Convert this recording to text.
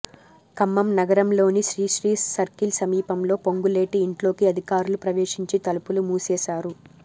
ఖ మ్మం నగరంలోని శ్రీశ్రీ సర్కిల్ సమీపంలోని పొంగులేటి ఇంట్లోకి అధికారులు ప్రవేశించి తలుపులు మూసేశారు